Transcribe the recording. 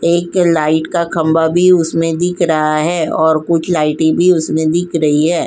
एक लाइट का खंभा भी उसमें दिख रहा है और कुछ लाइटें भी उसमें दिख रही है।